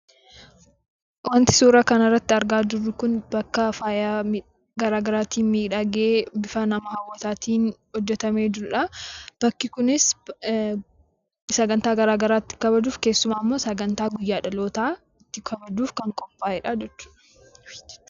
Suuraa kanaa gadii irratti kan argamu bakka faayya garaa garaatiin miidhagee kan nama hawwatuu dha. Bakki kunis sagantaa garaa garaa itti kabajuudhaaf keessattuu sagantaa guyyaa dhalootaa itti kabajuuf kan qophaa'ee dha.